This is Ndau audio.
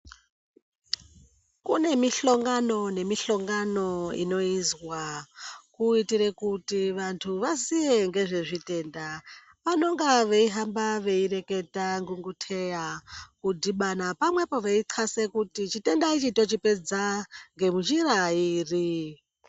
Kune mihlongano nemihlongano inoizwa kuitira kuti vantu vaziye ngezvezvitenda vanenge veihamba veireketa kudhibana veihlakasa kuti chitenda ichi dai tochipedza ngenjira iri.